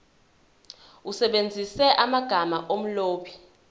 usebenzise amagama omlobi